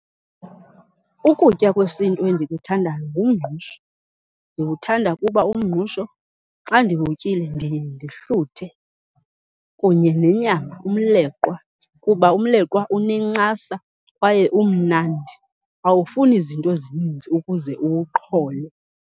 Ukutya kwesiNtu endikuthandayo ngumngqusho. Ndiwuthanda kuba umngqusho xa ndiwutyile ndiye ndihluthe. Kunye nenyama umleqwa kuba umleqwa unencasa kwaye umnandi, awufuni zinto zininzi ukuze uwuqhole.